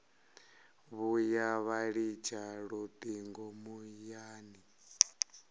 vhuya vha litsha lutingo muyani